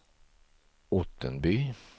Ottenby